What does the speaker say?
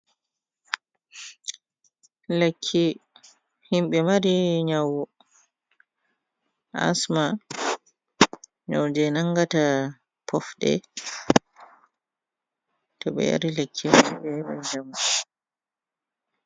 Lekki himɓe mari nyawu asma nyawu jey nangata poofɗe to ɓe yari lekki may ɓe heɓan jam.